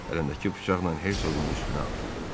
Əlindəki bıçaqla Hersoqun üstünə atıldı.